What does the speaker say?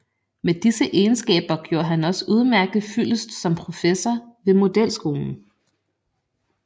Med disse egenskaber gjorde han også udmærket fyldest som professor ved modelskolen